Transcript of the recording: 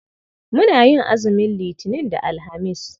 Muna yin azumin Litinin da Alhamis.